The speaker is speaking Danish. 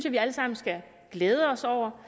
vi alle sammen skal glæde os over